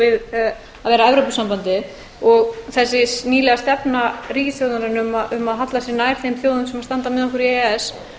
við að vera evrópusambandið og þessi nýlega stefna ríkisstjórnarinnar um að halla sér nær þeim þjóðum sem standa með okkur í e e